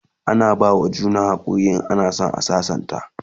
ana bawa juna hakuri in ana San a sassanta